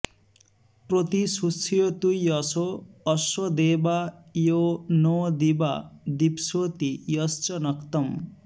प्रति॑ शुष्यतु॒ यशो॑ अस्य देवा॒ यो नो॒ दिवा॒ दिप्स॑ति॒ यश्च॒ नक्त॑म्